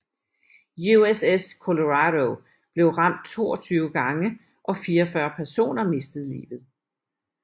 USS Colorado blev ramt 22 gange og 44 personer mistet livet